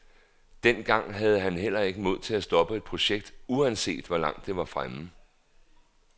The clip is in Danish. Dengang havde han heller ikke mod til at stoppe et projekt, uanset hvor langt det var fremme.